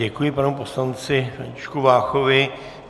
Děkuji panu poslanci Františku Váchovi.